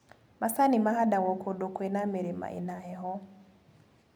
Macani mahandagwo kũndũ kwĩma mĩrĩma ĩna heho.